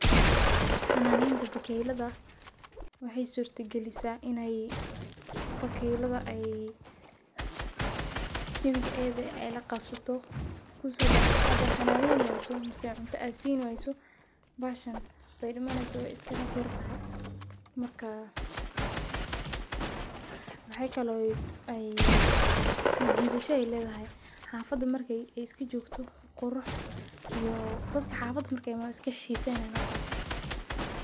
Xananeta bakeylada waxee surta galisa in ee bakeylada jawigeeda la qabsan laqabsato because hadaa xananeyni wayso ee cunta aa sini wayo wey iska dimani wey iska dimani sojidasha ayey ledhay xafada marka imato qurux ayey kadigi.